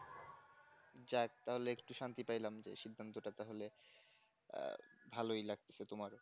যাক তাহলে একটু শান্তি পাইলাম যে সিদ্ধান্তটা তাহলে আহ ভালো লাগতেছে তোমার